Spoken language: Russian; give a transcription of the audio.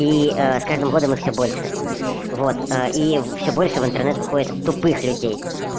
и с каждым годом их всё больше вот и всё больше в интернет выходит тупых людей